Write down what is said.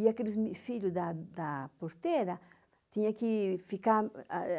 E aqueles da da porteira tinha que ficar